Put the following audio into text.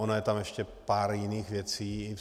Ono je tam ještě pár jiných věcí.